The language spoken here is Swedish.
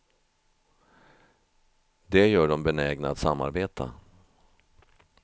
Det gör dem benägna att samarbeta.